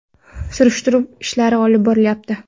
Surishtiruv ishlari olib borilyapti.